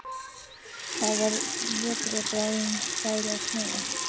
Það var vetur og bráðum færi að snjóa.